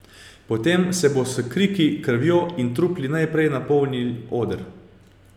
Potem se bo s kriki, krvjo in trupli najprej napolnil oder.